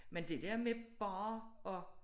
Men det dér med bare at